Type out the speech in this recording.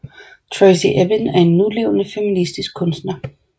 Tracey Emin er en nulevende feministisk kunstner